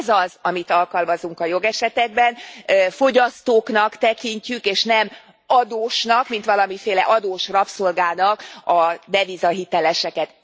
Ez az, amit alkalmazunk a jogesetekben, fogyasztóknak tekintjük, és nem adósnak, mint valamiféle adósrabszolgának a devizahiteleseket.